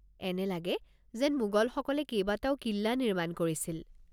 এনে লাগে যেন মোগলসকলে কেইবাটাও কিল্লা নিৰ্মাণ কৰিছিল।